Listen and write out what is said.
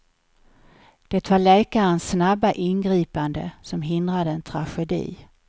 Det var läkarens snabba ingripande som hindrade en tragedi.